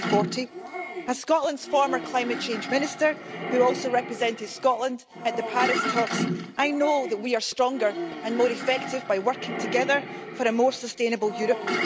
2040. As Scotland's former climate change minister, who also represented Scotland at the Paris talks, I know that we are stronger and more effective by working together for a more sustainable Europe.